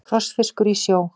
Krossfiskur í sjó.